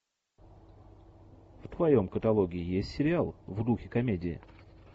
в твоем каталоге есть сериал в духе комедии